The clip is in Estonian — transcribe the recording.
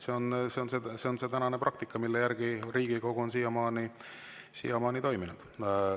See on praktika, mille järgi Riigikogu on siiamaani toiminud.